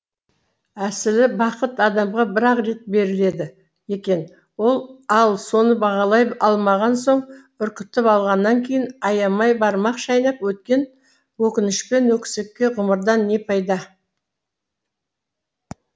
әсілі бақыт адамға бір ақ рет беріледі екен ал соны бағалай алмаған соң үркітіп алғанан кейін аямай бармақ шайнап өткен өкінішпен өкісікке ғұмырдан не пайда